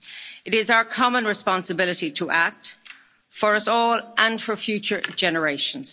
climate change. It is our common responsibility to act, for us all and for future